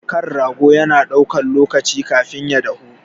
Kan rago na ɗaukan lokaci kafin ya dahu.